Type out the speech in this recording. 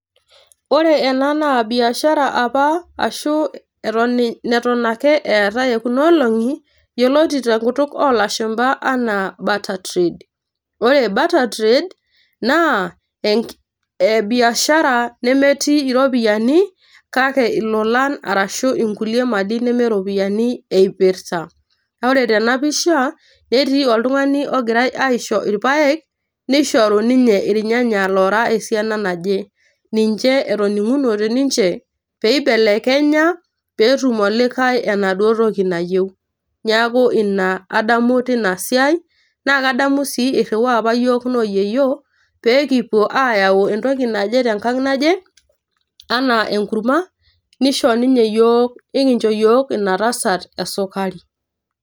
Ore ena naa biashara apa ashu neton ake eetae ekuna olongi yioloti te nkutuk oolashumba anaa barter trade. ore barter trade naa enk naa biashara nemetii iropiyiani arashu inkulie mali neme iropiyiani eipirta. naa ore tena pisha netii oltungani ogirae aisho irpaek ,nishoru ninye irnyanya lora esiana naje .niche etoningunote niche peibelekenya petum olikae enaduoo toki nayieu .niaku ina adamu tina siai naa kadamu sii iriwaa apa yiook nooyieyio peekipuo ayau entoki naje tenkang naje anaa enkurma nisho ninye iyiook ,nikincho yiook ina tasat esukari